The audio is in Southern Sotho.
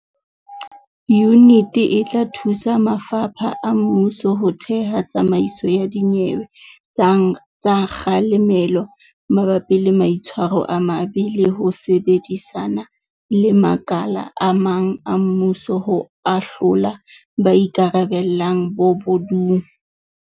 Yuniti e tla thusa mafapha a mmuso ho theha tsamaiso ya dinyewe tsa kga lemelo mabapi le maitshwaro a mabe le ho sebedisana le makala a mang a mmuso ho ahlola ba ikarabellang bobo dung.